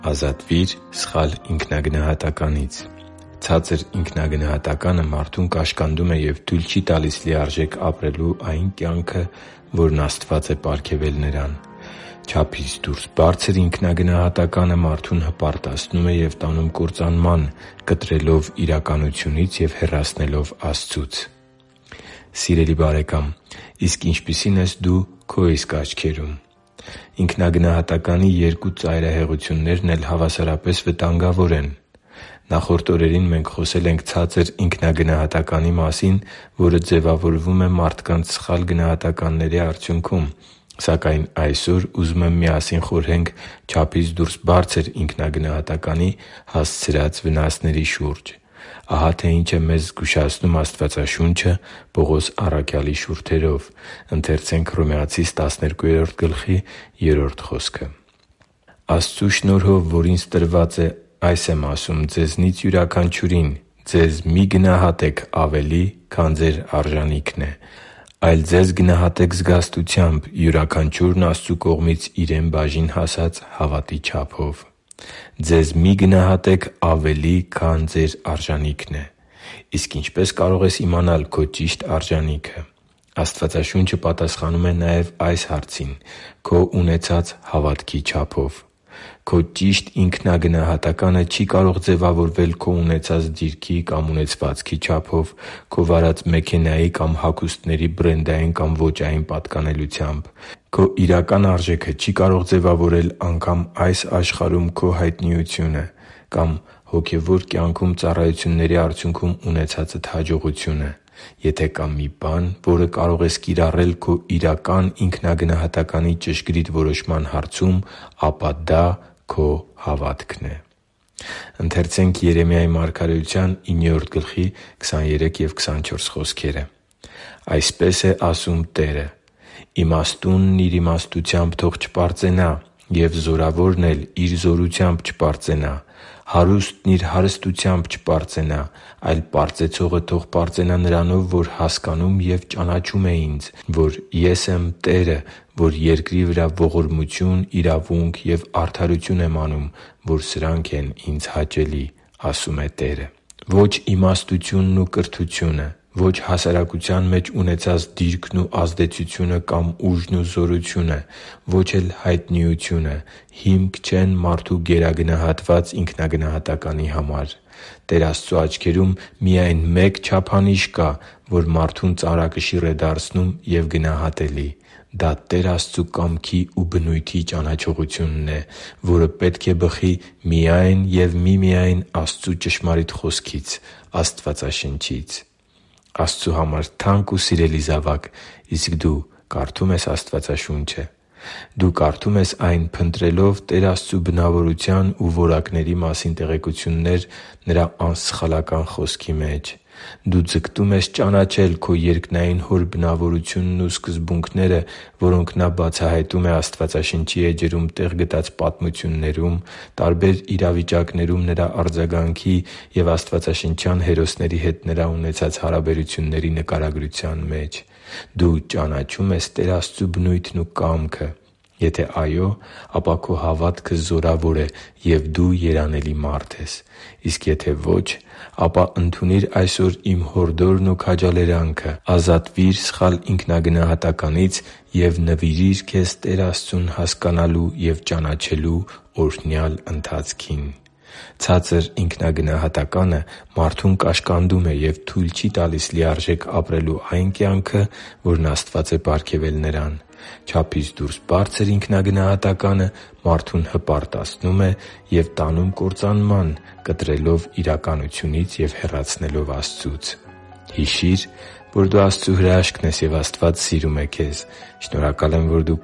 Ազատվի՛ր սխալ ինքնագնահատականից Ցածր ինքնագնահատականը մարդուն կաշկանդում է և թույլ չի տալիս լիարժեք ապրել այն կյանքը, որն Աստված է պարգևել նրան։ Չափից դուրս բարձր ինքնագնահատականը մարդուն հպարտացնում է ու տանում կործանման՝ կտրելով իրականությունից և հեռացնելով Աստծուց։ Սիրելի՛ բարեկամ, իսկ ինչպիսի՞ն ես դու քո իսկ աչքերում։ Ինքնագնահատականի երկու ծայրահեղություններն էլ հավասարապես վտանգավոր են։ Նախորդ օրերին մենք խոսել ենք ցածր ինքնագնահատականի մասին, որը ձևավորվում է մարդկանց սխալ գնահատականների արդյունքում։ Սակայն այսօր ուզում եմ միասին խորհենք չափից դուրս բարձր ինքնագնահատականի հասցրած վնասների շուրջ։ Ահա թե ինչ է մեզ զգուշացնում Աստվածաշունչը Պողոս առաքյալի շուրթերով․ «Աստծու շնորհով, որ ինձ է տրված, այս եմ ասում ձեզնից յուրաքանչյուրին. ձեզ մի՛ գնահատեք ավելի, քան ձեր արժանիքն է, այլ ձեզ գնահատե՛ք զգաստությամբ, յուրաքանչյուրն Աստծու կողմից իրեն բաժին հասած հավատի չափով» (Հռոմեացիս 12․3)։ Ձեզ մի՛ գնահատեք ավելի, քան ձեր արժանիքն է։ Իսկ ինչպե՞ս կարող ես իմանալ քո ճիշտ արժանիքը։ Աստվածաշունչը պատասխանում է նաև այս հարցին՝ քո ունեցած հավատքի չափով․․․ Քո ճիշտ ինքնագնահատականը չի կարող ձևավորվել քո ունեցած դիրքի կամ ունեցվածքի չափով, քո վարած մեքենայի կամ հագուստների բրենդային կամ ոճային պատկանելությամբ։ Քո իրական արժեքը չի կարող ձևավորել անգամ այս աշխարհում քո հայտնիությունը կամ անգամ հոգևոր կյանքում ծառայությունների արդյունքում ունեցածդ հաջողությունը։ Եթե կա մի բան, որը կարող ես կիրառել քո իրական ինքնագնահատականի ճշգրիտ որոշման հարցում, ապա դա քո հավատքն է։ «Այսպես է ասում Տերը. «Իմաստունն իր իմաստությամբ թող չպարծենա, և զորավորն էլ իր զորությամբ չպարծենա, հարուստն իր հարստությամբ չպարծենա։ Այլ պարծեցողը թող պարծենա նրանով, որ հասկանում և ճանաչում է Ինձ, որ ես եմ Տերը, որ երկրի վրա ողորմություն, իրավունք և արդարություն եմ անում, որ սրանք են հաճելի Ինձ»,- ասում է Տերը» (Երեմիա 9․23-24)։ Ո՛չ իմաստությունն ու կրթությունը, ո՛չ հասարակության մեջ ունեցած դիրքն ու ազդեցությունը կամ ուժն ու հարստությունը, ո՛չ էլ հայտնիությունը հիմք չեն մարդու գերագնահատված ինքնագնահատականի համար։ Տեր Աստծու աչքերում միայն մեկ չափանիշ կա, որ մարդուն ծանրակշիռ է դարձնում և գնահատելի։ Դա Տեր Աստծու կամքի ու բնույթի ճանաչողությունն է, որը պետք է բխի միայն և միմիայն Աստծու ճշմարիտ Խոսքից՝ Աստվածաշնչից։ Աստծու համար թանկ ու սիրելի՛ զավակ իսկ դու կարդո՞ւմ ես Աստվածաշունչը։ Դու կարդո՞ւմ ես այն՝ փնտրելով Տեր Աստծու բնավորության ու որակների մասին տեղեկություններ Նրա անսխալական Խոսքի մեջ։ Դու ձգտո՞ւմ ես ճանաչել քո երկնային Հոր բնավորությունն ու սկզբունքները, որոնք Նա բացահայտում է Աստվածաշնչի էջերում տեղ գտած պատմություններում, տարբեր իրավիճակներում Նրա արձագանքի և աստվածաշնչյան հերոսների հետ Նրա ունեցած հարաբերությունների նկարագրության մեջ։ Դու ճանաչո՞ւմ ես Տեր Աստծու բնույթն ու կամքը։ Եթե այո, ապա քո հավատքը զորավոր է, և դու երանելի մարդ ես։ Իսկ եթե ոչ, ապա ընդունի՛ր այսօր իմ հորդորն ու քաջալերանքը՝ ազատվի՛ր սխալ ինքնագնահատականից և նվիրի՛ր քեզ Տեր Աստծուն հասկանալու և ճանաչելու օրհնյալ ընթացքին։ Ցածր ինքնագնահատականը մարդուն կաշկանդում է և թույլ չի տալիս լիարժեք ապրել այն կյանքը, որն Աստված է պարգևել նրան։ Չափից դուրս բարձր ինքնագնահատականը մարդուն հպարտացնում է ու տանում կործանման՝ կտրելով իրականությունից և հեռացնելով Աստծուց։ Հիշի՛ր, որ դու Աստծո հրաշքն ես, և Աստված սիրում է քեզ։ Շնորհակալ եմ, որ դու